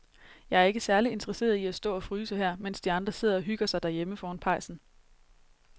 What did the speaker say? Jeg er ikke særlig interesseret i at stå og fryse her, mens de andre sidder og hygger sig derhjemme foran pejsen.